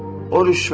O rüşvətdir.